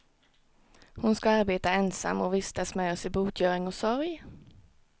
Hon ska arbeta ensam, och vistas med oss i botgöring och sorg.